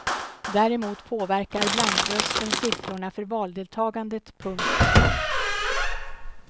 Däremot påverkar blankrösten siffrorna för valdeltagandet. punkt